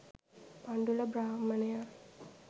Pandula බ්‍රාහ්මණයා